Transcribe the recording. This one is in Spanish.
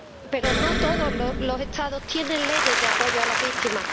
Pero no todos los Estados tienen leyes de apoyo a las víctimas